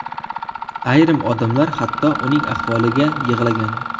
Ayrim odamlar hatto uning ahvoliga yig‘lagan.